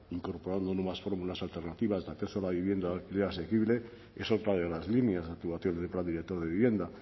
incorporando nuevas fórmulas alternativas de acceso a la vivienda de alquiler asequible es otra de las líneas de actuación del plan director de vivienda